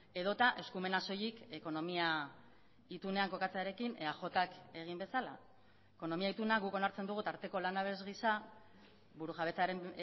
edota eskumena soilik ekonomia itunean kokatzearekin eajk egin bezala ekonomia ituna guk onartzen dugu tarteko lanabes gisa burujabetzaren